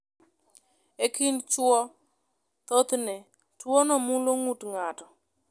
E kind chwo, thothne, tuwono mulo ng’ut ng’ato.